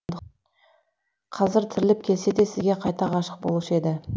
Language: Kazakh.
қазір тіріліп келсе де сізге қайта ғашық болушы еді